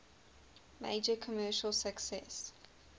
major commercial success